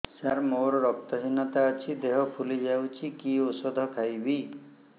ସାର ମୋର ରକ୍ତ ହିନତା ଅଛି ଦେହ ଫୁଲି ଯାଉଛି କି ଓଷଦ ଖାଇବି